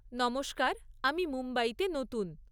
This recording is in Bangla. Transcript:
নমস্কার, আমি মুম্বইতে নতুন।